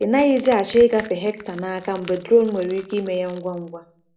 Ị naghịzi achọ ịgafe hectare n’aka mgbe drone nwere ike ime ya ngwa ngwa.